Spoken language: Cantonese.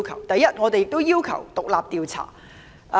第一，我們要求進行獨立調查。